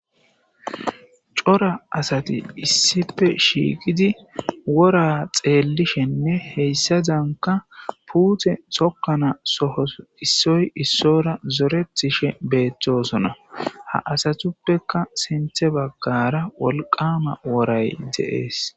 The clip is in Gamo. Cora asati issipe shiiqidi wora xeellishenne heyssa danka puuthe tokkana soho issoy issora zoretishe beeththosona ha asatuppeka sinthe baggara wolqama woray de'ees.